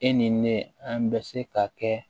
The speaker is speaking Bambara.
E ni ne an bɛ se ka kɛ